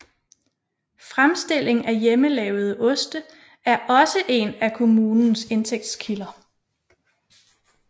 Fremstilling af hjemmelavede oste er også én af kommunens indtægtskilder